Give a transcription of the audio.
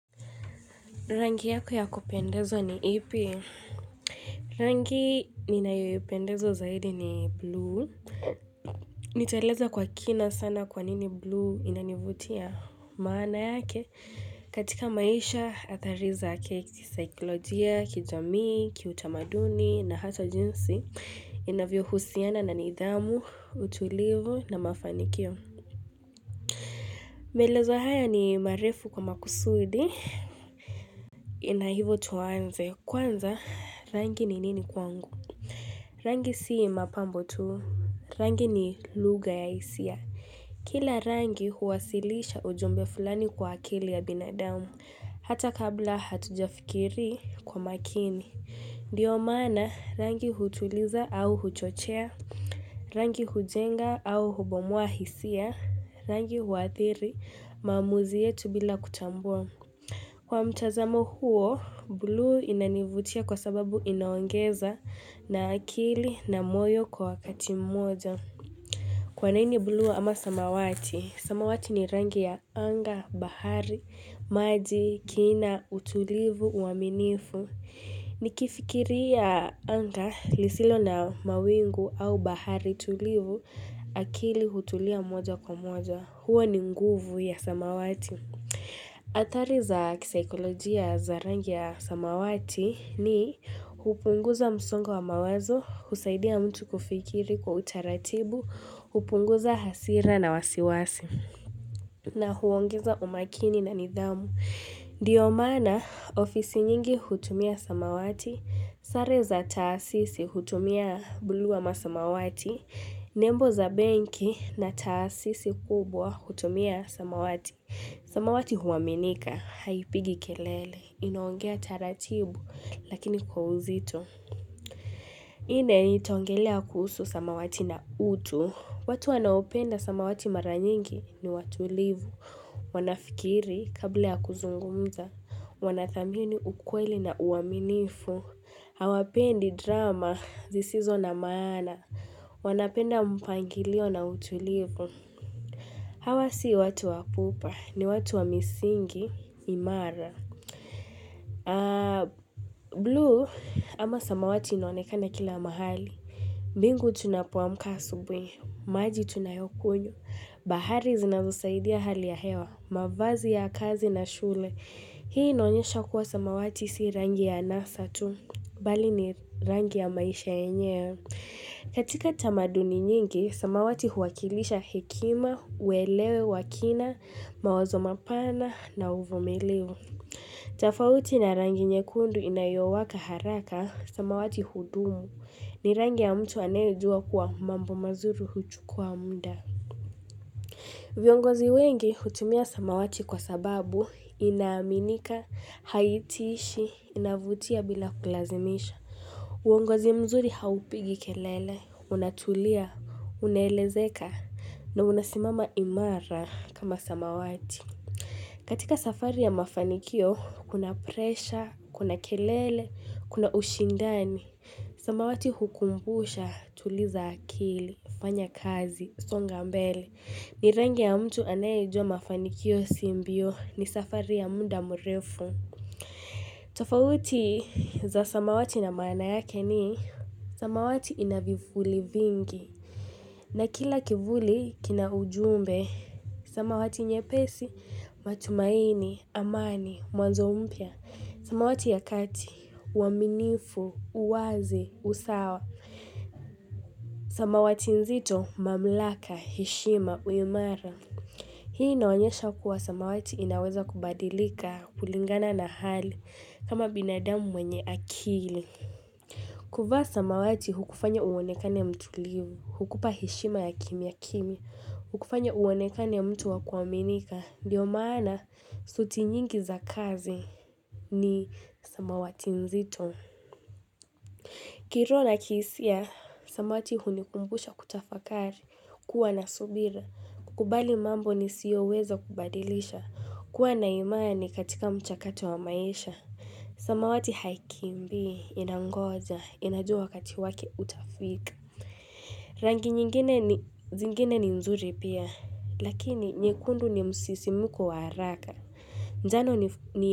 Rangi yako ya kupendeza ni ipi? Rangi ninayoipendeza zaidi ni blue. Nitaeleza kwa kina sana kwa nini blue inanivutia maana yake. Katika maisha, athari zake kisaiklojia, kijamii, kiutamaduni na hata jinsi. Inavyohusiana na nidhamu, utulivu na mafanikio. Maelezo haya ni marefu kwa makusudi. Na hivyo tuanze kwanza rangi ni nini kwangu Rangi sio mapambo tu Rangi ni lugha ya hisia Kila rangi huwasilisha ujumbe fulani kwa akili ya binadamu Hata kabla hatujafikiri kwa makini Ndiyo maana rangi hutuliza au huchochea Rangi hujenga au hubomua hisia Rangi huathiri maamuzi yetu bila kutambua Kwa mtazamo huo, buluu inanivutia kwa sababu inaongeza na akili na moyo kwa wakati mmoja. Kwa nini buluu ama samawati? Samawati ni rangi ya anga, bahari, maji, kina, utulivu, uaminifu. Nikifikiria anga lisilo na mawingu au bahari tulivu, akili hutulia moja kwa moja. Huo ni nguvu ya samawati. Athari za kisaikolojia za rangi ya samawati ni hupunguza msongo wa mawazo, husaidia mtu kufikiri kwa utaratibu, hupunguza hasira na wasiwasi. Na huongeza umakini na nidhamu. Ndiyo maana ofisi nyingi hutumia samawati, sare za taasisi hutumia buluu ama samawati, nembo za benki na taasisi kubwa hutumia samawati. Samawati huaminika, haipigi kelele, inaongea taratibu, lakini kwa uzito. Hii, itaongelea kuhusu samawati na utu. Watu wanaopenda samawati mara nyingi ni watulivu. Wanafikiri, kabla ya kuzungumza, wanathamini ukweli na uaminifu. Hawapendi drama, zisizo na maana. Wanapenda mpangilio na utulivu. Hawa si watu wa pupa, ni watu wa misingi. Imara. Blue ama samawati inaonekana kila mahali. Mbingu tunapoamka asubuhi. Maji tunayokunywa. Bahari zinazosaidia hali ya hewa. Mavazi ya kazi na shule. Hii inaonyesha kuwa samawati si rangi ya anasa tu. Bali ni rangi ya maisha yenyewe. Katika tamaduni nyingi, samawati huwakilisha hekima, uelewa, wa kina, mawazo mapana na uvumiliu. Tofauti na rangi nyekundu inayowaka haraka, samawati hudumu, ni rangi ya mtu anaejua kuwa mambo mazuri huchukua muda. Viongozi wengi hutumia samawati kwa sababu inaaminika, haitishi, inavutia bila kulazimisha. Uongozi mzuri haupigi kelele, unatulia, unaelezeka, na unasimama imara kama samawati. Katika safari ya mafanikio, kuna presha, kuna kelele, kuna ushindani. Samawati hukumbusha tuliza akili, fanya kazi, songa mbele. Ni rangi ya mtu anayejua mafanikio sio mbio ni safari ya muda mrefu. Tofauti za samawati na maana yake ni samawati ina vivuli vingi. Na kila kivuli kina ujumbe, samawati nyepesi, matumaini, amani, mwanzo mpya, samawati ya kati, uaminifu, uwazi, usawa, samawati nzito, mamlaka, heshima, uimara. Hii inaoanyesha kuwa samawati inaweza kubadilika, kulingana na hali, kama binadamu mwenye akili. Kuvaa samawati hukufanya uonekane ya mtulivu, hukupa heshima ya kimya kimya, hukufanya uonekane mtu wa kuaminika, ndiyo maana suti nyingi za kazi ni samawati mzito. Kiroho na kihisia, samawati hunikumbusha kutafakari, kuwa na subira, kukubali mambo nisiyoweza kubadilisha, kuwa na imani katika mchakato wa maisha. Samawati haikimbii, inangoja, inajua wakati wake utafika Rangi zingine ni nzuri pia, lakini nyekundu ni msisimuko wa haraka Njano ni.